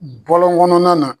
Bɔlɔnkɔnɔnaw na